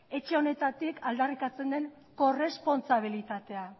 etxe honetatik aldarrikatzen den korrespontsabilitatea